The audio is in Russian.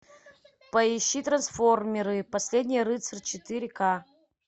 поищи трансформеры последний рыцарь четыре ка